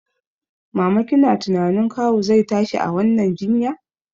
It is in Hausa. Mama kina tunanin kawu zai tashi a wannan jinya?